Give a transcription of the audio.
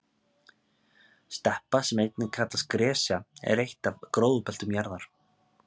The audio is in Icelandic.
steppa sem einnig kallast gresja er eitt af gróðurbeltum jarðar